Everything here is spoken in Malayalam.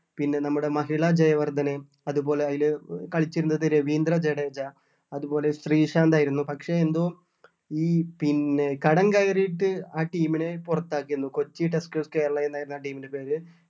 പിന്നെ നമ്മുടെ മഹിളാ ജയവർദ്ധനേം അതുപോലെ അയില് കളിച്ചിരുന്നത് രവീന്ദ്ര ജഡേജ അതുപോലെ ശ്രീശാന്ത് ആയിരുന്നു പക്ഷെ എന്തോ ഈ പിന്നെ കടം കയറിയിട്ട് ആ team നെ പുറത്താക്കിയിരുന്നു കൊച്ചി tuskers കേരള എന്ന് ആയിരുന്നു ആ team ൻ്റെ പേര്